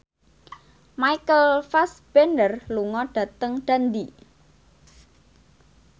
Michael Fassbender lunga dhateng Dundee